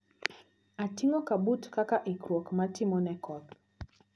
Ating`o kabut kaka ikruok matimo ne koth.